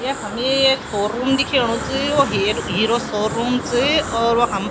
यखम यी एक शोरूम दिखेणु च वो हीर हीरो शोरूम और वखम --